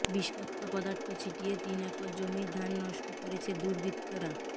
বিষাক্ত পদার্থ ছিটিয়ে তিন একর জমির ধান নষ্ট করেছে দুর্বৃত্তরা